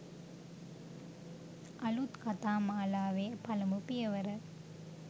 අලුත් කතා මාලාවේ පළමු පියවර